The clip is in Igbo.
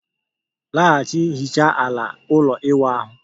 Laghachi hiche ala ụlọ ịwụ ahu